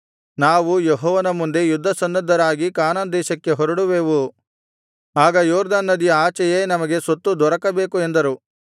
ನಾವು ಯೆಹೋವನ ಮುಂದೆ ಯುದ್ಧಸನ್ನದ್ಧರಾಗಿ ಕಾನಾನ್ ದೇಶಕ್ಕೆ ಹೊರಡುವೆವು ಆಗ ಯೊರ್ದನ್ ನದಿಯ ಆಚೆಯೇ ನಮಗೆ ಸ್ವತ್ತು ದೊರಕಬೇಕು ಎಂದರು